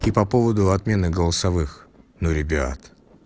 и по поводу отмены голосовых ну ребят